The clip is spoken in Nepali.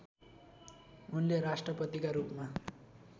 उनले राष्ट्रपतिका रूपमा